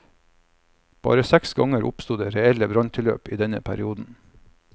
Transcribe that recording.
Bare seks ganger oppsto det reelle branntilløp i denne perioden.